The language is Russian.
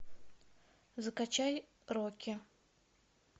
закачай рокки